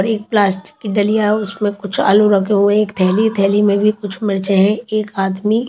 और एक प्लास्टिक की डलिया उसमें कुछ आलू रखें एक थैली में भी कुछ मिर्च है एक आदमी--